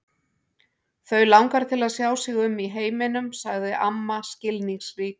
Þau langar til að sjá sig um í heiminum sagði amma skilningsrík.